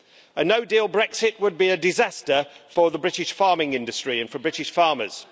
A no-deal Brexit would be a disaster for the British farming industry and for British farmers.